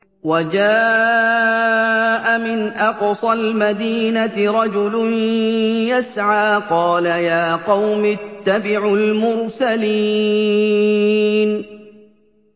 وَجَاءَ مِنْ أَقْصَى الْمَدِينَةِ رَجُلٌ يَسْعَىٰ قَالَ يَا قَوْمِ اتَّبِعُوا الْمُرْسَلِينَ